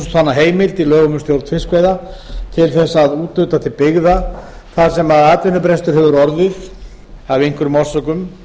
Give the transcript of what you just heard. heimild í lögum um stjórn fiskveiða til þess að úthluta til byggða þar sem atvinnubrestur hefur orðið af einhverjum orsökum